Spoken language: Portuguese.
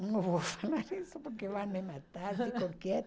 Não vou falar isso porque vão me matar, fico